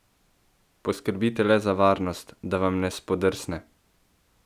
Poskrbite le za varnost, da vam ne spodrsne!